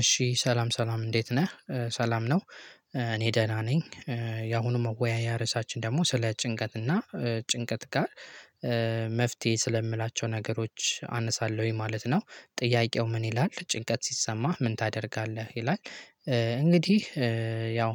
እሺ ሰላም ሰላም እንዴት ነህ ሰላም ነው እኔ ደህና ነኝ። ያሁኑ መወያያ ርዕሳችን ደግሞ ስለ ጭንቀት እና ጭንቀት ጋር መፍትሄ ስለምላቸው ነገሮች አነሳለሁኝ ማለት ነው። ጥያቄው ምን ይላል ጭንቀት ሲሰማህ ምን ታደርጋለህ ይላል? እንግዲህ ያው